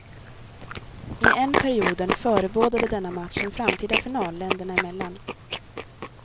I en perioden förebådade denna match en framtida final, länderna emellan.